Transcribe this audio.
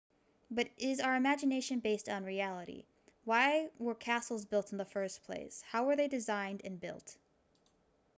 but is our imagination based on reality why were castles built in the first place how were they designed and built